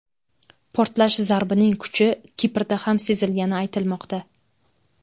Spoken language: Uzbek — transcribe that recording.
Portlash zarbining kuchi Kiprda ham sezilgani aytilmoqda.